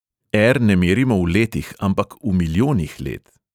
Er ne merimo v letih, ampak v milijonih let.